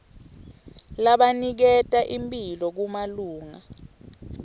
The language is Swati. labaniketa imphilo kumalunga